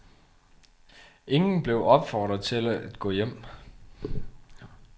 Ingen blev opfordret til at gå hjem.